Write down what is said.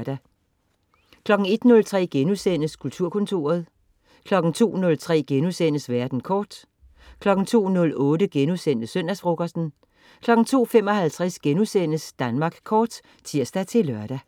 01.03 Kulturkontoret* 02.03 Verden kort* 02.08 Søndagsfrokosten* 02.55 Danmark Kort* (tirs-lør)